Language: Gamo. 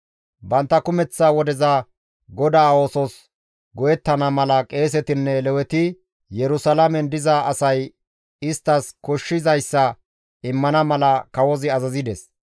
Bantta kumeththa wodeza GODAA oosos go7ettana mala qeesetinne Leweti Yerusalaamen diza asay isttas koshshizayssa immana mala kawozi azazides.